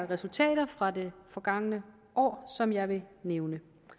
resultater fra det forgangne år som jeg vil nævne